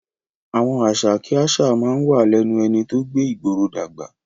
Àwọn àṣà kí àṣà máa ń wà lẹ́nu ẹni tó gbé ìgboro dàgbà